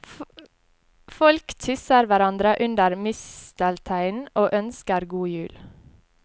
Folk kysser hverandre under mistelteinen og ønsker god jul.